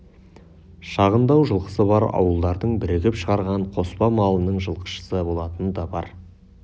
шағындау жылқысы бар ауылдардың бірігіп шығарған қоспа малының жылқышысы болатыны да бар